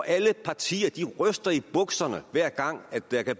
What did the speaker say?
alle partier ryster i bukserne hver gang der kan